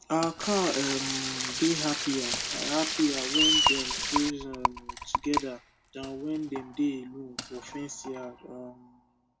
our cow um dey happier happier when dem graze um together than when dem dey alone for fenced yard um